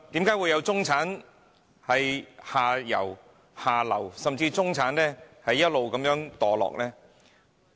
為何會有中產向下流，甚至一直墮落呢？